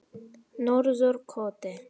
Norðurkoti